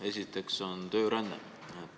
Esiteks, tööränne.